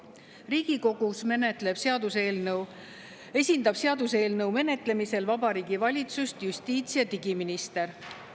Riigikogus esindab seaduseelnõu menetlemisel Vabariigi Valitsust justiits- ja digiminister.